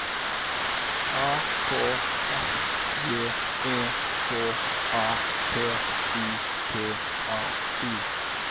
A K S J E K A P I T A L